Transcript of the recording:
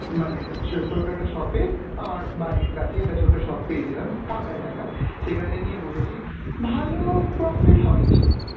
মানে একটা চিও~ ছোট্ট একটা shop এ আমার বাড়ির কাছেই একটা ছোট্ট shop পেয়েছিলাম ফাঁকা জায়গা, সেইখানে নিয়ে বসেছি ভালো profit হয় নি